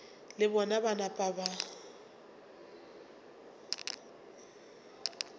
le bona ba napa ba